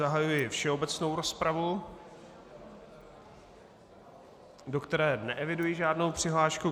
Zahajuji všeobecnou rozpravu, do které neeviduji žádnou přihlášku.